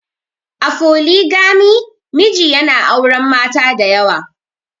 A Foligami, miji yana auren mata da yawa.